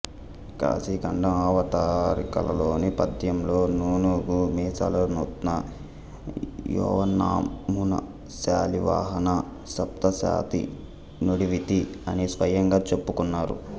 కాశీఖండం అవతారికలోని పద్యంలో నూనుగు మీసాల నూత్న యౌవనమునశాలివాహన సప్తశతి నుడివితి అని స్వయంగా చెప్పుకున్నారు